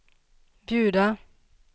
bjuda